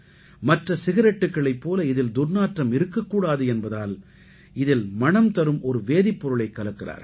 மற்ற சிகரெட்டுக்களைப் போல இதில் துர்நாற்றம் இருக்கக் கூடாது என்பதால் இதில் மணம் தரும் ஒரு வேதிப் பொருளைக் கலக்கிறார்கள்